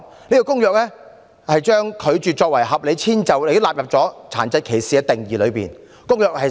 這份《公約》將拒絕提供合理遷就納入殘疾歧視的定義之中。